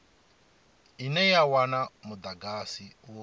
ine ya wana mudagasi u